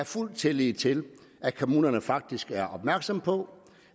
fuld tillid til at kommunerne faktisk er opmærksomme på